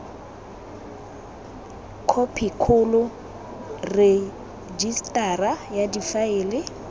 khophi kgolo rejisetara ya difaele